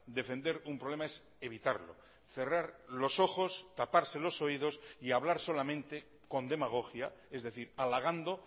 defender un problema es evitarlo cerrar los ojos taparse los oídos y hablar solamente con demagogia es decir halagando